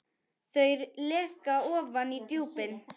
Þau leka ofan í djúpin.